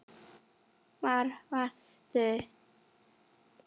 Hvar varstu?